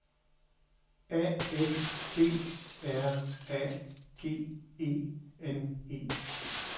A F D R A G E N E